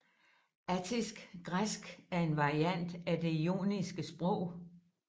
Attisk græsk er en variant af det joniske sprog